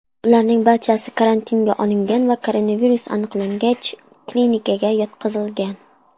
Ularning barchasi karantinga olingan va koronavirus aniqlangach, klinikaga yotqizilgan.